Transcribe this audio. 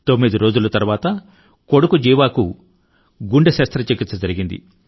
తొమ్మిది రోజుల తరువాత కొడుకు జీవాకు కూడా గుండె శస్త్రచికిత్స జరిగింది